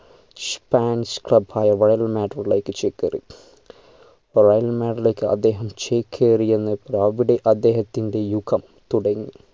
spanish club ആയ real madrid ലേക്ക് ചെകേറി real madrid ലെക് അദ്ദേഹം ചേക്കേറിയന്ന് അവിടെ അദ്ദേഹത്തിൻ്റെ യുഗം തുടങ്ങി